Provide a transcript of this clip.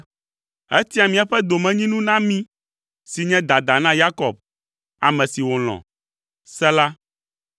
Etia míaƒe domenyinu na mí si nye dada na Yakob, ame si wòlɔ̃. Sela